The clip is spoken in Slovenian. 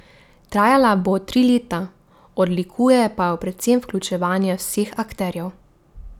Trajala bo tri leta, odlikuje pa jo predvsem vključevanje vseh akterjev.